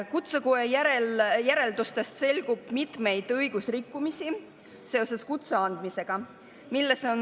Kutsekoja järeldustest selgub mitmeid õigusrikkumisi seoses kutse andmisega.